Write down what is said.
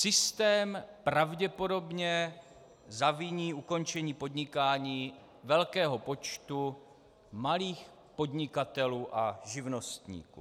Systém pravděpodobně zaviní ukončení podnikání velkého počtu malých podnikatelů a živnostníků.